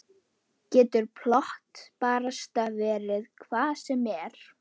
Getur plott barasta verið hvað sem er?